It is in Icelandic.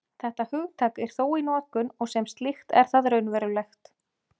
Þetta hugtak er þó í notkun, og sem slíkt er það raunverulegt.